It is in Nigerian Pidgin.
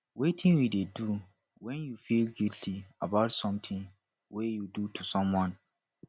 wetin you dey do when you feel guilty about something wey you do to someone